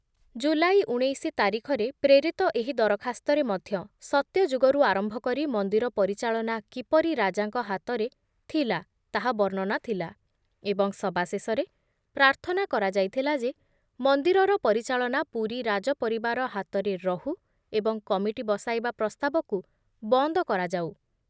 ଜୁଲାଇ ଉଣେଇଶି ତାରିଖରେ ପ୍ରେରିତ ଏହି ଦରଖାସ୍ତରେ ମଧ୍ୟ ସତ୍ୟଯୁଗରୁ ଆରମ୍ଭ କରି ମନ୍ଦିର ପରିଚାଳନା କିପରି ରାଜାଙ୍କ ହାତରେ ଥିଲା ତାହା ବର୍ଣ୍ଣନା ଥିଲା ଏବଂ ସବା ଶେଷରେ ପ୍ରାର୍ଥନା କରାଯାଇଥିଲା ଯେ ମନ୍ଦିରର ପରିଚାଳନା ପୁରୀ ରାଜ ପରିବାର ହାତରେ ରହୁ ଏବଂ କମିଟି ବସାଇବା ପ୍ରସ୍ତାବକୁ ବନ୍ଦ କରାଯାଉ ।